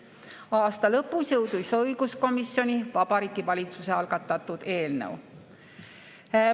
Aasta lõpus jõudis õiguskomisjoni Vabariigi Valitsuse algatatud eelnõu.